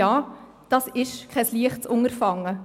Ja, das ist kein leichtes Unterfangen.